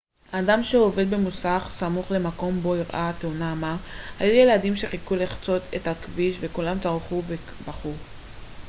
אדם שעובד במוסך סמוך למקום בו אירעה התאונה אמר היו ילדים שחיכו לחצות את הכביש וכולם צרחו ובכו